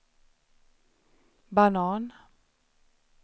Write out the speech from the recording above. banan